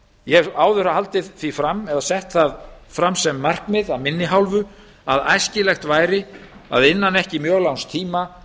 ég hef áður haldið því fram eða sett það fram sem markmið af minni hálfu að æskilegt væri að innan ekki mjög langs tíma